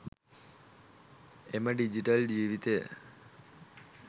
එම ඩිජිටල් ජීවිතය